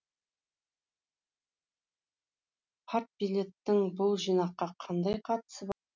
партбилеттің бұл жинаққа қандай қатысы